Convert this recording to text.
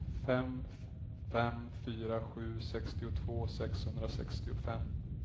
fem fem fyra sju sextiotvå sexhundrasextiofem